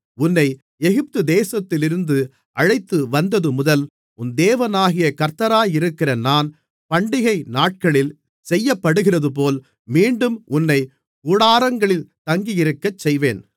உன்னை எகிப்து தேசத்திலிருந்து அழைத்துவந்தது முதல் உன் தேவனாகிய கர்த்தராயிருக்கிற நான் பண்டிகை நாட்களில் செய்யப்படுகிறதுபோல் மீண்டும் உன்னைக் கூடாரங்களில் தங்கியிருக்கச்செய்வேன்